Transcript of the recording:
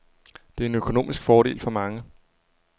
Det er en økonomisk fordel for mange.